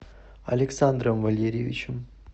александром валерьевичем